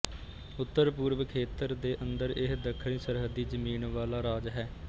ਉੱਤਰਪੂਰਬ ਖੇਤਰ ਦੇ ਅੰਦਰ ਇਹ ਦੱਖਣੀ ਸਰਹੱਦੀ ਜ਼ਮੀਨ ਵਾਲਾ ਰਾਜ ਹੈ